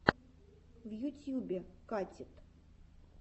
в ютьюбе катит